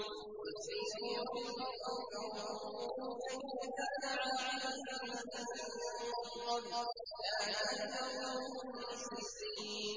قُلْ سِيرُوا فِي الْأَرْضِ فَانظُرُوا كَيْفَ كَانَ عَاقِبَةُ الَّذِينَ مِن قَبْلُ ۚ كَانَ أَكْثَرُهُم مُّشْرِكِينَ